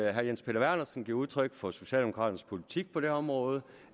at herre jens peter vernersen gav udtryk for socialdemokratisk politik på det område